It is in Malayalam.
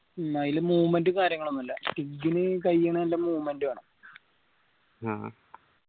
അയിൽ movement ഉം കാര്യങ്ങൾ ഒന്നും ഇല്ല ഇഗ്ഗിൻ നല്ല movement വേണം